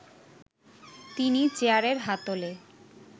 তিনি চেয়ারের হাতলে